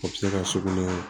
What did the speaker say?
A bɛ se ka sugunɛ